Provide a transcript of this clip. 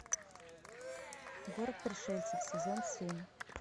город пришельцев сезон семь